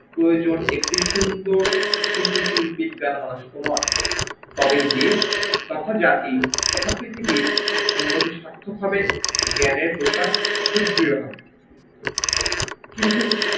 প্রয়োজন একটি সুন্দর একটি সুশীল বিজ্ঞান মনস্ক মন, তবেই বেশ তথা জাতি তথা পৃথিবীর সার্থক হবে জ্ঞানের প্রসার সুদৃঢ় হবে, কিন্তু